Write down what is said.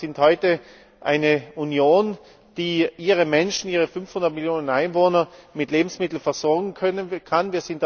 Wir sind heute eine Union, die ihre Menschen, 500 Millionen Einwohner, mit Lebensmitteln versorgen kann.